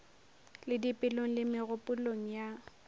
le dipelong le megopolong ya